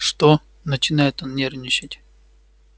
что начинает он нервничать